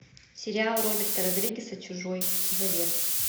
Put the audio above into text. сериал роберта родригеса чужой завет